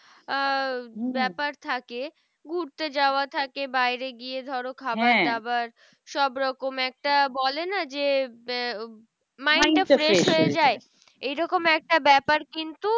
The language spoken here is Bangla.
আহ ব্যাপার থাকে ঘুরতে যাওয়া থাকে বাইরে গিয়ে ধরো খাবার দাবার সব রকম একটা বলেনা যে, mind টা fresh হয়ে যায়। এইরকম একটা ব্যাপার কিন্তু